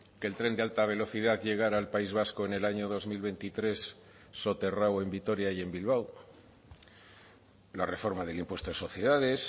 que el tren de alta velocidad llegara al país vasco en el año dos mil veintitrés soterrado en vitoria y en bilbao la reforma del impuesto de sociedades